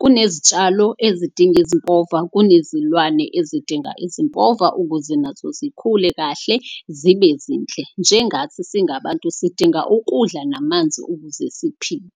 Kunezitshalo ezidinga ezimpova, kunezilwane ezidinga ezimpova ukuze nazo zikhule kahle zibe zinhle. Njengathi singabantu sidinga ukudla namanzi ukuze siphile.